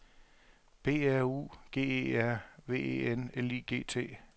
B R U G E R V E N L I G T